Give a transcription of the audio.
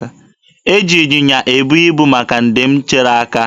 E ji ịnyịnya ibu ebu ibu maka nje m tere aka.